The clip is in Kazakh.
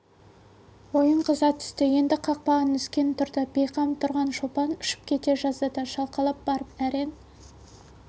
ойын қыза түсті енді қақпаға нүскен тұрды бейқам тұрған шолпан ұшып кете жаздады шалқалап барып әрең